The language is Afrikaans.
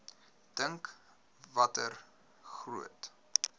dink watter groot